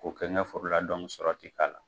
K'o kɛ n ka foro la sɔrɔ tɛ k'a la